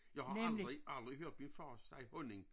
Jeg har aldrig aldrig hørt min far sige honning